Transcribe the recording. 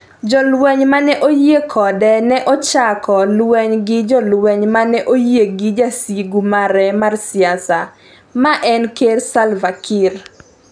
Jolweny mane oyie kode ne ochako lweny gi jolweny mane oyie gi jasigu mare mar siasa, ma en ker Salva Kiir.